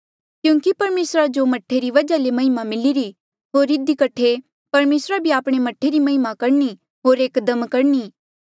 क्यूंकि परमेसरा जो मह्ठे री वजहा ले महिमा मिलिरी होर इधी कठे परमेसरा भी आपणे मह्ठे री महिमा करणी होर एकदम करणी